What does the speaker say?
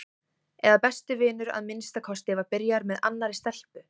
eða besti vinur að minnsta kosti var byrjaður með annarri stelpu.